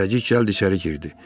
Zərrəcik gəldi içəri girdi.